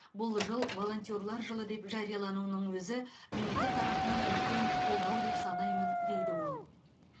бұл жыл волонтерлар жылы деп жариялануының өзі мемлекет тарапынан үлкен қолдау деп санаймын дейді ол